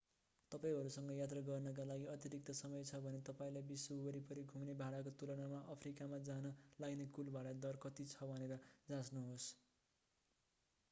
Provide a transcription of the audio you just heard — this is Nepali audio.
तपाईंसँग यात्रा गर्नका लागि अतिरिक्त समय छ भने तपाईंलाई विश्व वरिपरि घुम्ने भाडाको तुलनामा अफ्रीकामा जान लाग्ने कुल भाँडा दर कति छ भनेर जाँच्नुहोस्